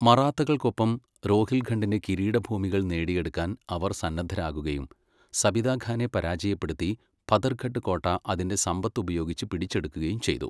മറാത്തകൾക്കൊപ്പം രോഹിൽഖണ്ഡിന്റെ കിരീടഭൂമികൾ നേടിയെടുക്കാൻ അവർ സന്നദ്ദരാകുകയും സബിത ഖാനെ പരാജയപ്പെടുത്തി പഥർഗഡ് കോട്ട അതിന്റെ സമ്പത്ത് ഉപയോഗിച്ച് പിടിച്ചെടുക്കുകയും ചെയ്തു.